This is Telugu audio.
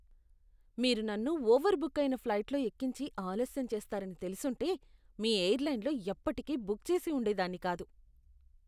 మీరు నన్ను ఓవర్బుక్ అయిన ఫ్లైట్లో ఎక్కించి ఆలస్యం చేస్తారని తెలిసుంటే మీ ఎయిర్లైన్లో ఎప్పటికీ బుక్ చేసి ఉండేదాన్ని కాదు.